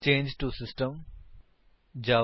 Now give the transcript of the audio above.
ਚੰਗੇ ਟੋ ਸਿਸਟਮ ਜਾਵਾ